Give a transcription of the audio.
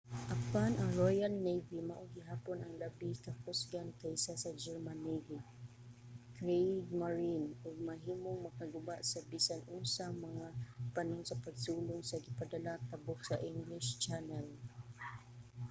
apan ang royal navy mao gihapon ang labi ka kusgan kaysa sa german navy kriegmarine ug mahimong makaguba sa bisan unsa nga mga panon sa pagsulong nga gipadala tabok sa english channel